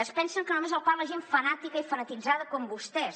es pensen que només el parla gent fanàtica i fanatitzada com vostès